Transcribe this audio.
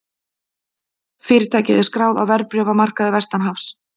Fyrirtækið er skráð á verðbréfamarkaði vestanhafs